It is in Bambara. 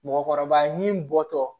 Mɔgɔkɔrɔba ni bɔtɔ